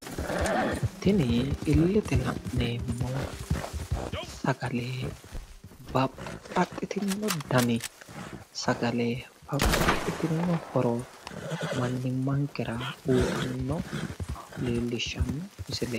Tini illete la'neemmo sagale babbaxxitinno dani sagale babbaxxitinno horo mannimmankera uyitanno leellishshanno misileeti.